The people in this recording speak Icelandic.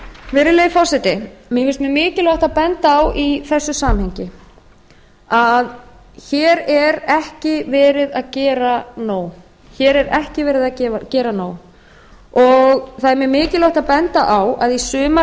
virðulegi forseti mér finnst mjög mikilvægt að benda á í þessu samhengi að hér er ekki verið að gera nóg það er mjög mikilvægt að benda á að í sumar